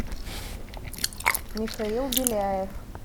михаил беляев